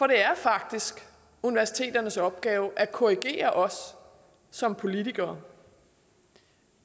det er faktisk universiteternes opgave at korrigere os som politikere